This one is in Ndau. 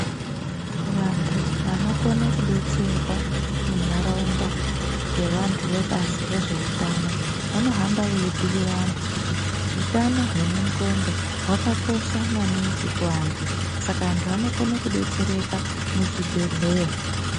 Vantu vanokone kudetserwa munharaunda ngevantu vebazi rezveutano vanohamba veibhuira antu kuti hutano hwemun'codo hutano hwakakosha maningi muantu saka antu anokone kudetsereka muzvibhehleya.